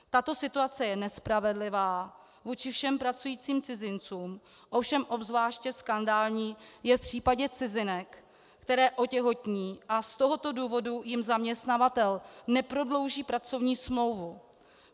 Tato situace je nespravedlivá vůči všem pracujícím cizincům, ovšem obzvláště skandální je v případě cizinek, které otěhotní, a z tohoto důvodu jim zaměstnavatel neprodlouží pracovní smlouvu.